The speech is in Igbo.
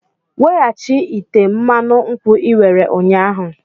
Wetaghachi ite mmanụ nkwu i were ụnyahụ!